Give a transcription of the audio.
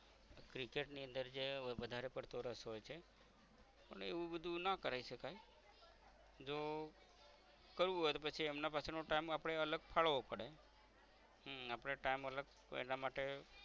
cricket ની અંદર જે વધારે પડતો રસ હોય છે અને એવું બધુ ના કરી શકાઈ જો કરવું હોય તો પછી એમના પાછળ નો time અપડે અલગ કડવો પડે હમ અપડે time અલગ એના માટે